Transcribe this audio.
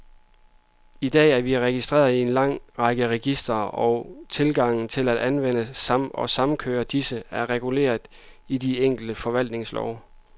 I dag er vi registreret i en lang række registre, og tilgangen til at anvende og samkøre disse, er reguleret i de enkelte forvaltningslove.